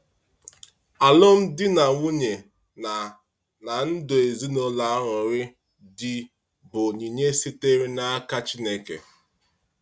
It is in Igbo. Alụmdi na nwunye na na ndụ ezinụlọ añụrị dị bụ onyinye sitere n’aka Chineke.